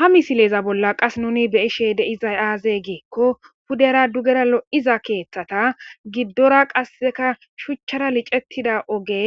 Ha misileza bolla qas nuni be ishe deiza aaze giikko pudera dugera lo'iza keeththata giddora qasseka shuchchara licettida oge